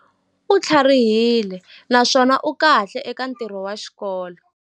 U tlharihile naswona u kahle eka ntirho wa xikolo.